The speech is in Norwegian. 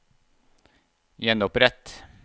gjenopprett